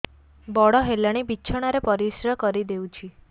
ବଡ଼ ହେଲାଣି ବିଛଣା ରେ ପରିସ୍ରା କରିଦେଉଛି